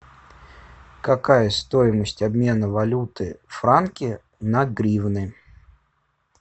какая стоимость обмена валюты франки на гривны